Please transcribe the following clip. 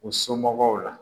U somɔgɔw la